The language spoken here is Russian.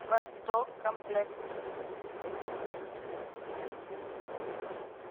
восток комплект